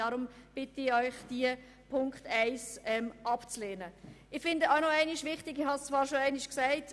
Deshalb bitte ich Sie, den die Planungserklärung 1 abzulehnen.